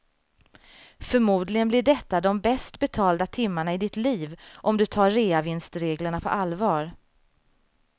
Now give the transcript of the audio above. Förmodligen blir detta de bäst betalda timmarna i ditt liv om du tar reavinstreglerna på allvar.